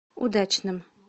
удачным